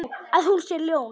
Að hún sé ljón.